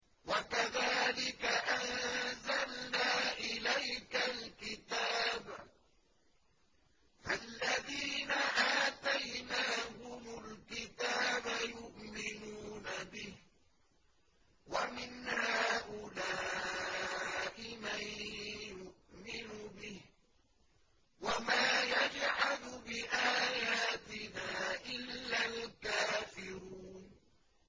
وَكَذَٰلِكَ أَنزَلْنَا إِلَيْكَ الْكِتَابَ ۚ فَالَّذِينَ آتَيْنَاهُمُ الْكِتَابَ يُؤْمِنُونَ بِهِ ۖ وَمِنْ هَٰؤُلَاءِ مَن يُؤْمِنُ بِهِ ۚ وَمَا يَجْحَدُ بِآيَاتِنَا إِلَّا الْكَافِرُونَ